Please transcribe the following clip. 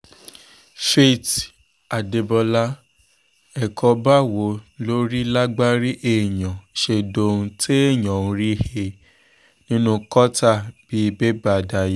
faith adébọlá ẹ̀kọ́ báwo lórí lágbárí èèyàn ṣe dohun téèyàn ń rí he nínú kọ́tà bíi bébà daya